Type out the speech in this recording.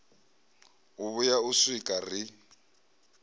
u vhuya u swika ri